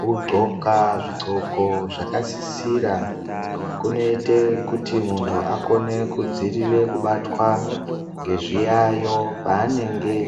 Kudxoka zvi ndxoko zvaka sisira kuno ite kuti muntu akone ku dzivirire kubatwa nge zviyayo pa anenge